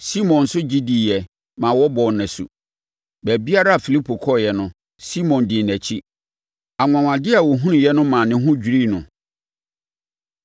Simon nso gye diiɛ maa wɔbɔɔ no asu. Baabiara a Filipo kɔeɛ no, Simon dii nʼakyi. Anwanwadeɛ a ɔhunuiɛ no ma ne ho dwirii no.